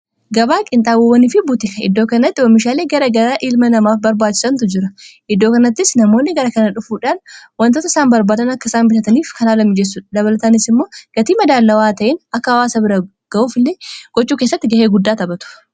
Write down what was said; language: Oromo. gabaa qinxaabowwanii fi buutika iddoo kannatti oomishaalee gara gara ilma namaaf barbaachisantu jira iddoo kanattis namoonni gara kana dhufuudhaan wantoota isaan barbaadan akka isaan bitataniif kana haala mijessu dabalatanis immoo gatii madaallawaa ta'een akka hawaasa bira ga'uuf illee gochuu keessatti gahee guddaa taphatu.